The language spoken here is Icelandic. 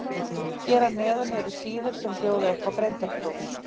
Hér að neðan eru síður sem bjóða upp á greindarpróf.